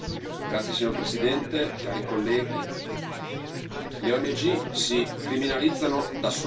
Signor Presidente, onorevoli colleghi, le ONG si criminalizzano da sole.